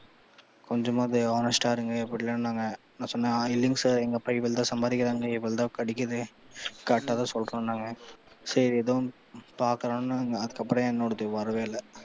கொஞ்சமாவது honest ஆ இருங்க நான் சொன்னேன் இல்லைங்க sir எங்க அப்பா இவ்வளவு தான் சம்பாரிக்குறாரு இவ்வளவு தான் கிடைக்குது correct ஆ தான் சொல்றோம் நாங்க சேரி எதோ ஒண்ணு பாக்கலாம்னாங்க அதுக்கு அப்புறம் என்னோடது வரவே இல்லை.